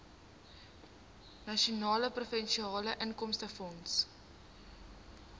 nasionale provinsiale inkomstefonds